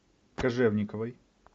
кожевниковой